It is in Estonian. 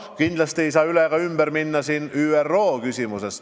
Kindlasti ei saa üle ega ümber ka ÜRO küsimusest.